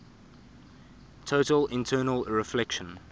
total internal reflection